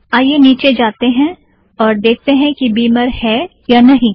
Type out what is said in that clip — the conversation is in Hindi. आइए नीचे जातें हैं और देखतें हैं कि बीमर है या नहीं